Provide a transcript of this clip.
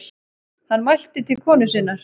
Hann mælti til konu sinnar